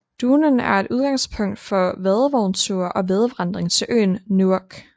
Duhnen er udgangspunkt for vadevognture og vadevandring til øen Neuwerk